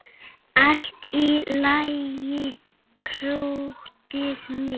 Allt í lagi, krúttið mitt!